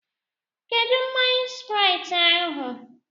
Kedụ mmanya Sprait ahụ?